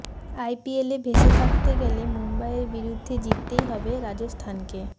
আইপিএলে ভেসে থাকতে গেলে মুম্বইয়ের বিরুদ্ধে জিততেই হবে রাজস্থানকে